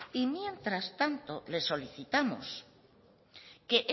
y mientras tanto le solicitamos que